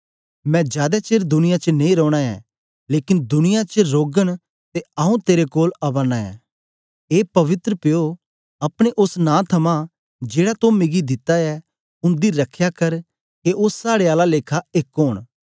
मैं जादै चेर दुनिया च नेई रौना ऐ लेकन दुनिया च रौगन ते आऊँ तेरे कोल आवा नां ऐं ए पवित्र प्यो अपने ओस नां थमां जेड़ा तो मिगी दिता ऐ उन्दी रखया कर के ओ साड़े आला लेखा एक ओंन